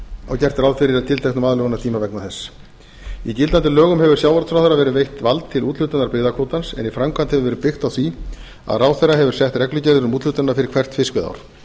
og gert ráð fyrir tilteknum aðlögunartíma vegna þess í gildandi lögum hefur sjávarútvegsráðherra verið veitt vald til úthlutunar byggðakvótans en í framkvæmd verið byggt á því að ráðherra hefur sett reglugerðir um úthlutunina fyrir hvert fiskveiðiár